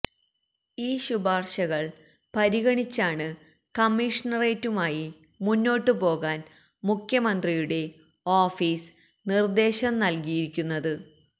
ഈ ശുപാർശകള് പരിഗണിച്ചാണ് കമ്മീഷണറേറ്റുമായി മുന്നോട്ടു പോകാൻ മുഖ്യമന്ത്രിയുടെ ഓഫീസ് നിർദ്ദേശം നൽകരിയിരിക്കുന്നത്